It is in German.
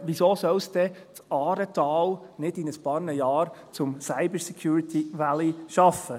Wieso soll es das Aaretal nicht in ein paar Jahren zum «Cyber Security Valley» schaffen?